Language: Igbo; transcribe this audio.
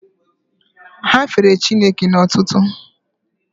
Ha fere Chineke n'otuto